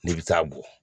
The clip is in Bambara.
N'i bɛ taa bɔn